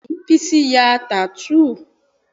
Bẹ́ẹ̀ni Bísí ya tattoo